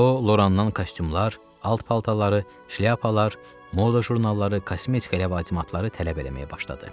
O Lorandan kostyumlar, alt paltarları, şlyapalar, moda jurnalları, kosmetika ləvazimatları tələb eləməyə başladı.